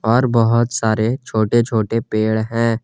और बहुत सारे छोटे छोटे पेड़ हैं।